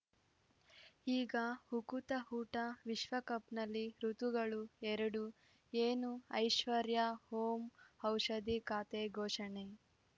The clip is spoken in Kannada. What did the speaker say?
ಈಗ ಉಕುತ ಊಟ ವಿಶ್ವಕಪ್‌ನಲ್ಲಿ ಋತುಗಳು ಎರಡು ಏನು ಐಶ್ವರ್ಯಾ ಓಂ ಔಷಧಿ ಖಾತೆ ಘೋಷಣೆ